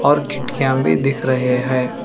और खिड़कियां भी दिख रहे हैं।